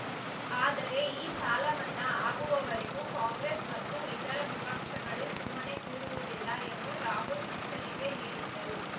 ಆದರೆ ಈ ಸಾಲ ಮನ್ನಾ ಆಗುವವರೆಗೂ ಕಾಂಗ್ರೆಸ್‌ ಮತ್ತು ಇತರೆ ವಿಪಕ್ಷಗಳು ಸುಮ್ಮನೆ ಕೂರುವುದಿಲ್ಲ ಎಂದು ರಾಹುಲ್‌ ಎಚ್ಚರಿಕೆ ನೀಡಿದ್ದರು